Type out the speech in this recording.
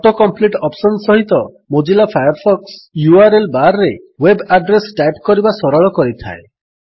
auto complete option ସହିତ Mozilla Firefox URL bar ରେ web address type କରିବା ସରଳ କରିଥାଏ